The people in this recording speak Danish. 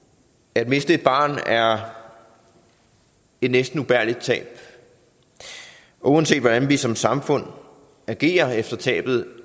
at miste et barn er et næsten ubærligt tab og uanset hvordan vi som samfund agerer efter tabet